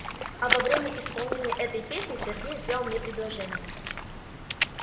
а во время исполнения этой песни сергей сделал мне предложение